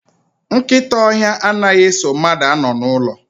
Nkịta ọhịa anaghị eso mmadụ anọ n'ụlọ